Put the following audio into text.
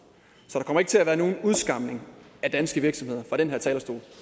så der kommer ikke til at være nogen udskamning af danske virksomheder fra den her talerstol